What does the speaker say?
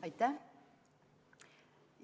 Aitäh!